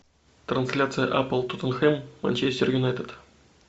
трансляция апл тоттенхэм манчестер юнайтед